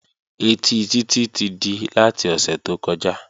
Ẹtí Títí ti di láti ọ̀sẹ̀ tó kọjá